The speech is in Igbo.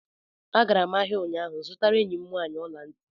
A gara m ahịa ụnyaahụ zụtara enyi m nwaanyị ọla ntị